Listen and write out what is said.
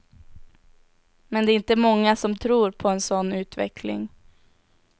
Men det är inte många som tror på en sådan utveckling.